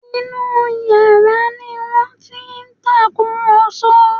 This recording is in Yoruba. Inú yàrá ni wọ́n ti ń tàkùrọ̀sọ